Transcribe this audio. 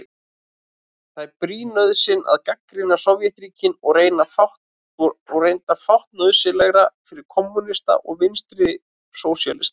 Það er brýn nauðsyn að gagnrýna Sovétríkin og reyndar fátt nauðsynlegra fyrir kommúnista og vinstrisósíalista.